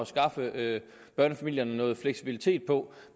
skaffe børnefamilierne noget fleksibilitet på